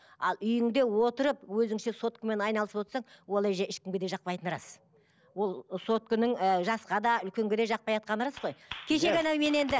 ал үйіңде отырып өзіңше соткамен айналысып отсаң ол әже ешкімге де жақпайтыны рас ол сотканың ы жасқа да үлкенге жақпайатқаны рас қой кешегі анау мен енді